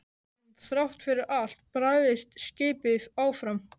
En þrátt fyrir allt barðist skipið áfram.